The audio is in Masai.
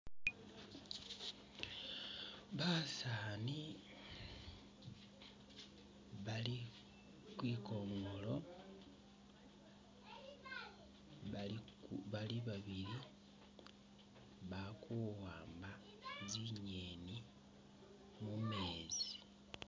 Basani bali khwikonolo, balikula bali babili balikuwamba zingeni mumeezi